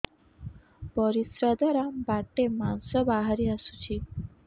ପରିଶ୍ରା ଦ୍ୱାର ବାଟେ ମାଂସ ବାହାରି ଆସୁଛି